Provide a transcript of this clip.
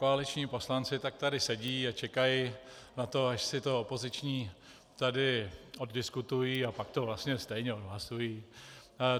Koaliční poslanci tak tady sedí a čekají na to, až si to opoziční tady oddiskutují, a pak to vlastně stejně odhlasují.